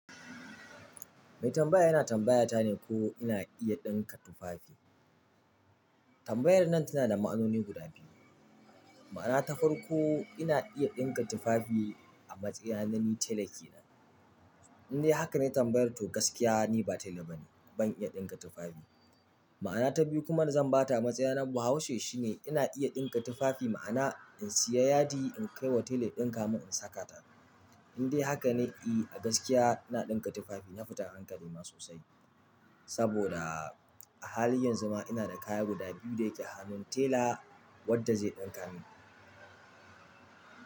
Mai tambaya yana tambayata ne ko ina iya ɗinka tufafi. Tambayar nan tana da ma'anoni guda biyu. Ma'ana ta farko ina iya ɗinka tufafi a matsayina na ni tela kenan in dai haka ne tambayarta, to gaskiya ni ba tela ba ne. Ban iya ɗinka tufafi. Ma'ana ta biyu kuma da zan ba ta a matsayina na Bahaushe shine ina iya ɗinka tufafi. Ma'ana in siya yadi in kai wa tela ya ɗinka mun, in saka ta. In dai haka ne, i a gaskiya ina ɗinka tufafi. Na fita hankali ma sosai. Saboda a halin yanzu ma ina da kaya guda biyu da yake hannun tela wadda zai ɗinka mun.